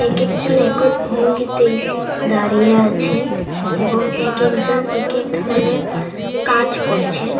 একেক জন একত ভঙ্গিতে দাঁড়িয়ে আছেন এবং একেক জন একেক ধরনের কাজ করছেন।